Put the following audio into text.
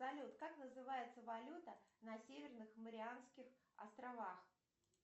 салют как называется валюта на северных марианских островах